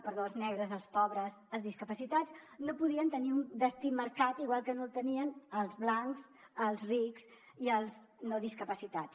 perdó els negres els pobres els discapacitats no podien tenir un destí marcat igual que no el tenien els blancs els rics i els no discapacitats